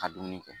Ka dumuni kɛ